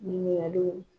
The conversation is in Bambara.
Ɲininkaliw